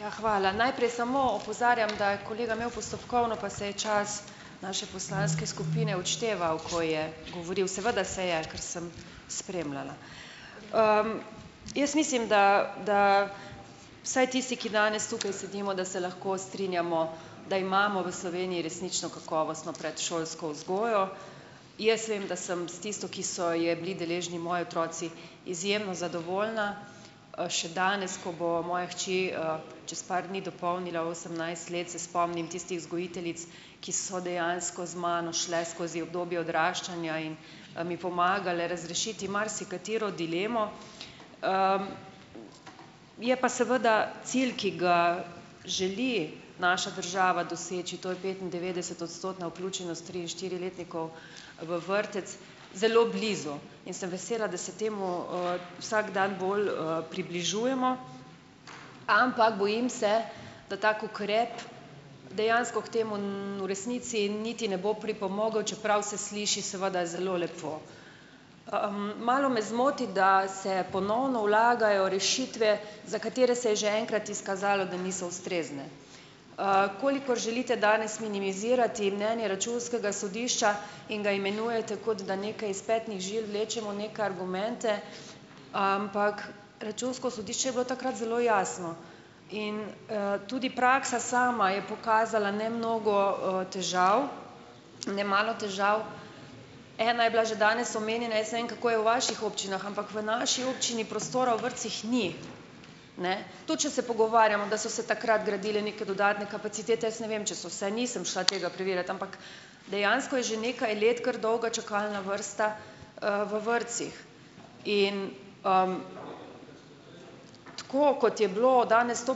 Ja, hvala. Najprej samo opozarjam, da je kolega imel postopkovno, pa se je čas naše poslanske skupine odšteval , ko je govoril. Seveda se je, ker sem spremljala. Jaz mislim, da, da vsaj tisti, ki danes tukaj sedimo, da se lahko strinjamo, da imamo v Sloveniji resnično kakovostno predšolsko vzgojo. Jaz vem, da sem s tisto, ki so je bili deležni moji otroci, izjemno zadovoljna, še danes, ko bo moja hči, čez par dni dopolnila osemnajst let, se spomnim tistih vzgojiteljic, ki so dejansko z mano šle skozi obdobje odraščanja in, mi pomagale razrešiti marsikatero dilemo. Je pa seveda cilj, ki ga želi naša država doseči, to je petindevetdesetodstotna vključenost, tri- in štiriletnikov v vrtec, zelo blizu in sem vesela, da se temu, vsak dan bolj, približujemo, ampak bojim se, da tak ukrep dejansko k temu, v resnici niti ne bo pripomogel, čeprav se sliši seveda zelo lepo. Malo me zmoti, da se ponovno vlagajo rešitve, za katere se je že enkrat izkazalo, da niso ustrezne. Kolikor želite danes minimizirati mnenje računskega sodišča in ga imenujete, kot da nekaj iz petnih žil vlečemo neke argumente, ampak računsko sodišče je bilo takrat zelo jasno, in, tudi praksa sama je pokazala nemnogo, težav nemalo težav. Ena je bila že danes omenjena, jaz ne vem, kako je v vaših občinah, ampak v naši občini prostora v vrtcih ni. Ne. Tudi če se pogovarjamo, da so se takrat gradile neke dodatne kapacitete, jaz ne vem, če so se, nisem šla tega preverjat, ampak dejansko je že nekaj let kar dolga čakalna vrsta, v vrtcih. In, tako kot je bilo danes to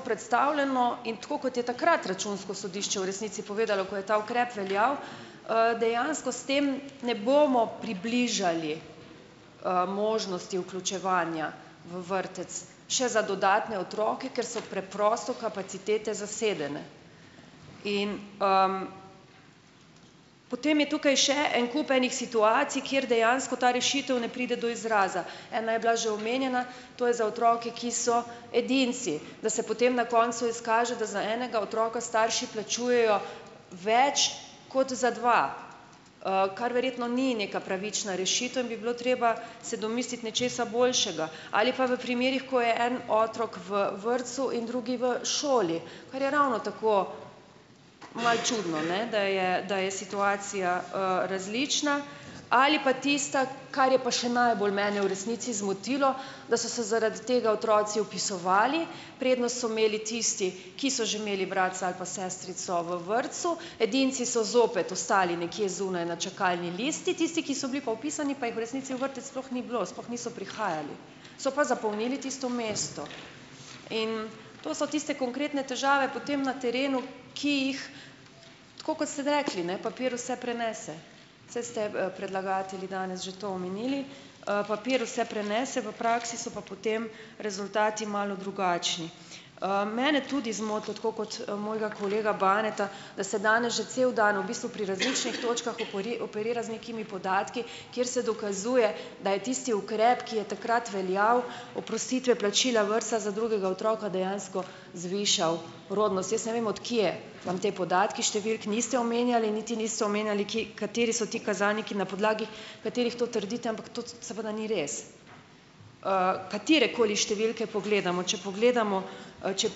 predstavljeno in tako kot je takrat računsko sodišče v resnici povedalo, ko je ta ukrep veljal, dejansko s tem ne bomo približali, možnosti vključevanja v vrtec še za dodatne otroke, ker so preprosto kapacitete zasedene. in, potem je tukaj še en kup enih situacij, kjer dejansko ta rešitev ne pride do izraza. Ena je bila že omenjena, to je za otroke, ki so edinci, da se potem na koncu izkaže, da za enega otroka starši plačujejo več kot za dva, kar verjetno ni neka pravična rešitev in bi bilo treba se domisliti nečesa boljšega. Ali pa v primerih, ko je en otrok v vrtcu in drugi v šoli, kar je ravno tako malo čudno, ne, da je, da je situacija, različna. Ali pa tista, kar je pa še najbolj mene v resnici zmotilo, da so se zaradi tega otroci vpisovali, prednost so imeli tisti, ki so že imeli bratca ali pa sestrico v vrtcu, edinci so zopet ostali nekje zunaj na čakalni listi, tisti, ki so bili pa vpisani, pa jih v resnici v vrtec sploh ni bilo, sploh niso prihajali, so pa zapolnili tisto mesto. In to so tiste konkretne težave potem na terenu, ki jih, tako kot ste rekli, ne, papir vse prenese. Saj ste, predlagatelji danes že to omenili. Papir vse prenese, v praksi so pa potem rezultati malo drugačni. Mene tudi zmotilo, tako kot, mojega kolega Baneta, da se danes že cel dan v bistvu pri različnih točkah operira z nekimi podatki, kjer se dokazuje, da je tisti ukrep, ki je takrat veljal, oprostitve plačila vrtca za drugega otroka dejansko zvišal rodnost. Jaz ne vem, od kje vam ti podatki. Številk niste omenjali, niti niste omenjali, kje, kateri so ti kazalniki, na podlagi katerih to trdite, ampak to seveda ni res. Katerekoli številke pogledamo, če pogledamo, če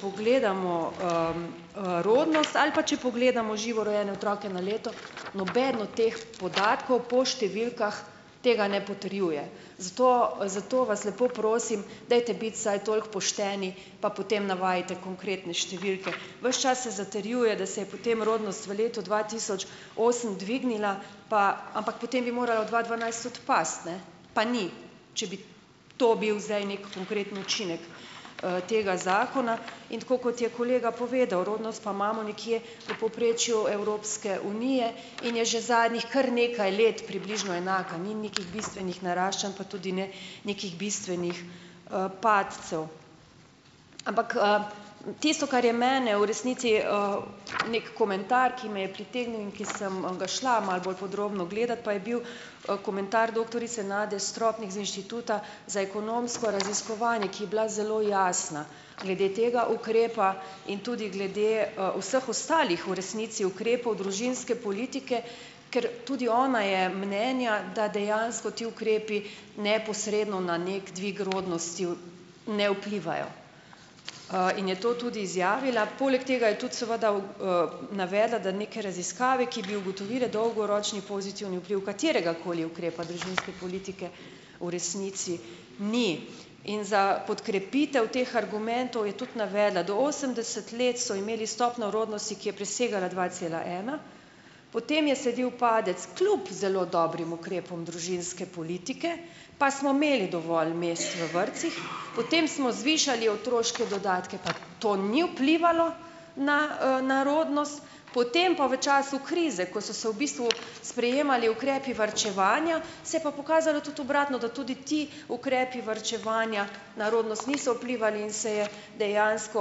pogledamo, rodnost ali pa če pogledamo živo rojene otroke na leto, noben od teh podatkov po številkah tega ne potrjuje. Zato zato vas lepo prosim, dajte biti vsaj toliko pošteni, pa potem navajajte konkretne številke. Ves čas se zatrjuje, da se je potem rodnost v letu dva tisoč osem dvignila pa, ampak potem bi morala dva dvanajst tudi pasti, ne, pa ni, če bi to bil zdaj neki konkreten učinek, tega zakona. In tako kot je kolega povedal, rodnost pa imamo nekje v povprečju Evropske unije in je že zadnjih kar nekaj let približno enaka, ni nekih bistvenih naraščanj, pa tudi ne nekih bistvenih, padcev. Ampak, tisto, kar je mene v resnici, neki komentar, ki me je pritegnil in ki sem ga šla malo bolj podrobno gledat, pa je bil, komentar doktorice Nade Stropnik z Inštituta za ekonomsko raziskovanje, ki je bila zelo jasna glede tega ukrepa in tudi glede, vseh ostalih v resnici ukrepov družinske politike, ker tudi ona je mnenja, da dejansko ti ukrepi neposredno na neki dvig rodnosti ne vplivajo, in je to tudi izjavila. Poleg tega je tudi seveda navedla, da neke raziskave, ki bi ugotovile dolgoročni pozitivni vpliv kateregakoli ukrepa družinske politike, v resnici ni. In za podkrepitev teh argumentov je tudi navedla, do osemdeset let so imeli stopnjo rodnosti, ki je presegala dva cela ena, potem je sledil padec kljub zelo dobrim ukrepom družinske politike, pa smo imeli dovolj mest v vrtcih, potem smo zvišali otroške dodatke, pa to ni vplivalo na, na rodnost, potem pa v času krize, ko so se v bistvu sprejemali ukrepi varčevanja, se je pa pokazalo tudi obratno, da tudi ti ukrepi varčevanja na rodnost niso vplivali in se je dejansko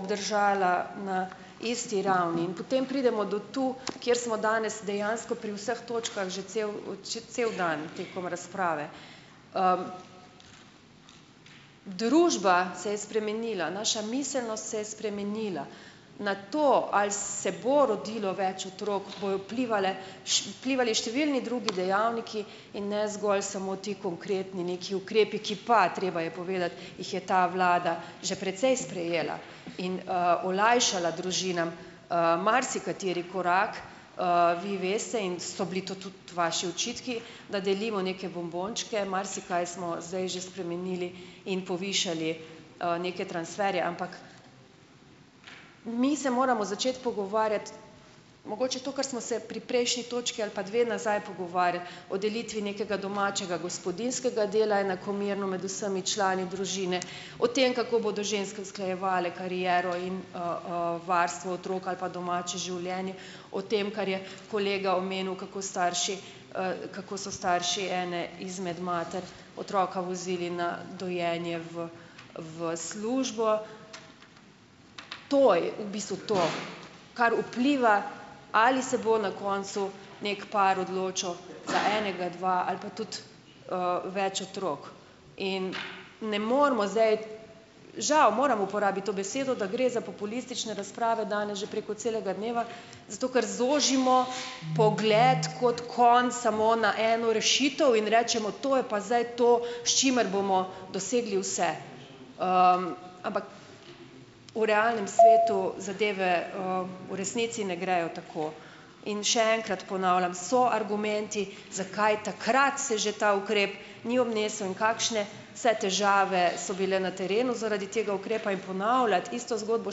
obdržala na isti ravni. In potem pridemo do tu, kjer smo danes dejansko pri vseh točkah že cel, cel dan tekom razprave. Družba se je spremenila, naša miselnost se je spremenila. Na to, ali se bo rodilo več otrok, bojo vplivale vplivali številni drugi dejavniki in ne zgolj samo ti konkretni neki ukrepi, ki pa, treba je povedati, jih je ta vlada že precej sprejela in, olajšala družinam, marsikateri korak. Vi veste in so bili to tudi vaši očitki, da delimo neke bombončke. Marsikaj smo zdaj že spremenili in povišali, neke transferje. Ampak mi se moramo začeti pogovarjati, mogoče to, kar smo se pri prejšnji točki ali pa dve nazaj pogovarjali, o delitvi nekega domačega gospodinjskega dela enakomerno med vsemi člani družine, o tem, kako bodo ženske usklajevale kariero in varstvo, otrok ali pa domače življenje, o tem, kar je kolega omenil, kako starši, kako so starši ene izmed mater otroka vozili na dojenje v, v službo. To je v bistvu to, kar vpliva, ali se bo na koncu neki par odločil za enega, dva ali pa tudi, več otrok. In ne moremo zdaj, žal, moram uporabiti to besedo, da gre za populistične razprave danes že preko celega dneva, zato ker zožimo pogled kot konj samo na eno rešitev in rečemo: "To je pa zdaj to, s čimer bomo dosegli vse." Ampak v realnem svetu zadeve, v resnici ne grejo tako. In še enkrat ponavljam, so argumenti, zakaj takrat se že ta ukrep ni obnesel, in kakšne vse težave so bile na terenu zaradi tega ukrepa. In ponavljati isto zgodbo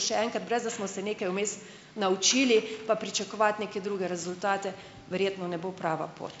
še enkrat, brez da smo se nekaj vmes naučili, pa pričakovati neke druge rezultate, verjetno ne bo prava pot.